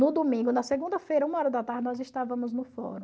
No domingo, na segunda-feira, uma hora da tarde, nós estávamos no fórum.